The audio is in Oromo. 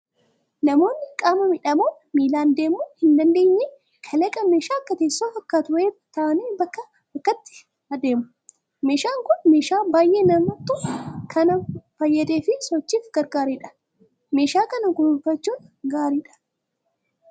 Namoonni qaama miidhamoon miilaan deemuu hin dandeenye kalaqa meeshaa akka teessoo fakkaatu wayiirra taa'anii bakkaa bakkatti ittiin adeemu. Meeshaan kun meeshaa baay'ee namoota kana fayyadee fi sochiif gargaaredha. Meeshaa kana kunuunfachuun gaariidha.